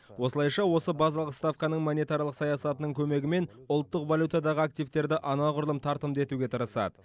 осылайша осы базалық ставканың монетарлық саясатының көмегімен ұлттық валютадағы активтерді анағұрлым тартымды етуге тырысады